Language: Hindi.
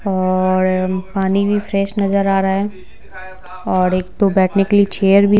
और पानी भी फ्रेश नजर आ रहा है और एक दो बैठने के लिए चेयर भी--